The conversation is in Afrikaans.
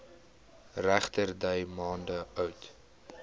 regterdy maande oud